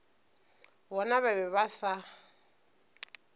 bona ba be ba sa